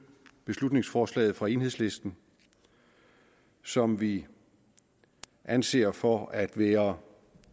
beslutningsforslaget fra enhedslisten som vi anser for at være